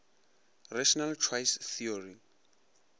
rational choice theory